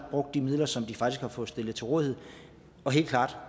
brugt de midler som de faktisk har fået stillet til rådighed